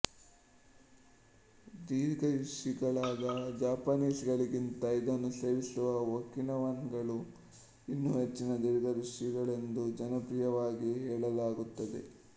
ದೀರ್ಘಾಯುಷಿಗಳಾದ Japanese ಗಳಿಗಿಂತ ಇದನ್ನು ಸೇವಿಸುವ ಒಕಿನವನ್ ಗಳು ಇನ್ನೂ ಹೆಚ್ಚಿನ ದೀರ್ಘಾಯುಷಿಗಳೆಂದು ಜನಪ್ರಿಯವಾಗಿ ಹೇಳಲಾಗುತ್ತದೆ